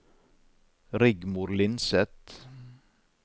Rigmor Lindseth